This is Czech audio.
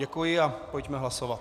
Děkuji a pojďme hlasovat.